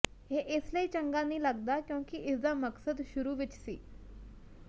ਇਹ ਇਸ ਲਈ ਚੰਗਾ ਨਹੀਂ ਲਗਦਾ ਕਿਉਂਕਿ ਇਸਦਾ ਮਕਸਦ ਸ਼ੁਰੂ ਵਿੱਚ ਸੀ